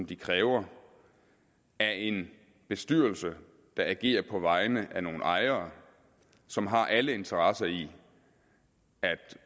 de kræver af en bestyrelse der agerer på vegne af nogle ejere som har alle interesser i at